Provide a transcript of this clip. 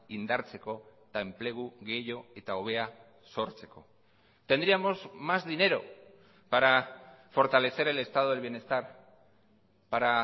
indartzeko eta enplegu gehiago eta hobea sortzeko tendríamos más dinero para fortalecer el estado del bienestar para